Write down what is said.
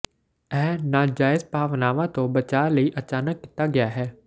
ਇਹ ਨਾਜਾਇਜ਼ ਭਾਵਨਾਵਾਂ ਤੋਂ ਬਚਾਅ ਲਈ ਅਚਾਨਕ ਕੀਤਾ ਗਿਆ ਹੈ